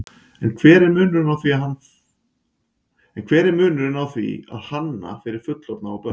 En hver er munurinn á því að hanna fyrir fullorðna og börn?